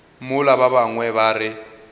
mola ba bangwe ba re